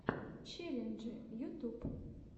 челленджи ютуб